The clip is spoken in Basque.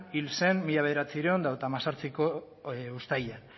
hil zen mila bederatziehun eta hogeita hemezortziko uztailean